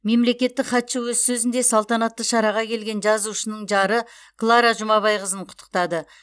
мемлекеттік хатшы өз сөзінде салтанатты шараға келген жазушының жары клара жұмабайқызын құттықтады